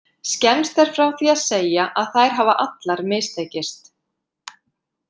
Skemmst er frá því að segja að þær hafa allar mistekist.